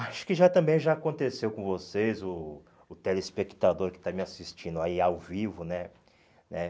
Acho que já também já aconteceu com vocês, o o telespectador que está me assistindo aí ao vivo, né né?